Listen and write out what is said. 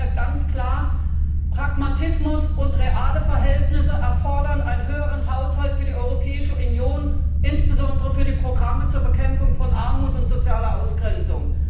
Ich sage hier ganz klar, Pragmatismus und reale Verhältnisse erfordern einen höheren Haushalt für die Europäische Union, insbesondere für die Programme zur Bekämpfung von Armut und sozialer Ausgrenzung.